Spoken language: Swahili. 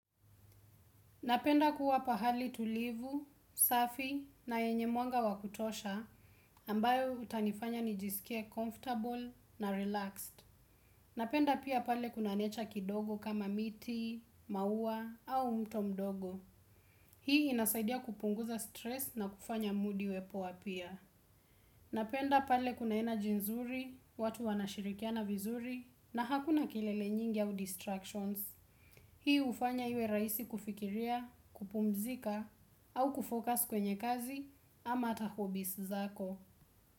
Napenda kuwa pahali tulivu, safi na yenye mwanga wakutosha ambayo utanifanya nijisikie comfortable na relaxed. Napenda pia pale kuna nature kidogo kama miti, maua au mto mdogo. Hii inasaidia kupunguza stress na kufanya moodi iwe poa pia. Napenda pale kuna energy nzuri, watu wanashirikia na vizuri na hakuna kelele nyingi au distractions. Hii ufanya iwe raisi kufikiria, kupumzika au kufocus kwenye kazi ama hata hobbies zako.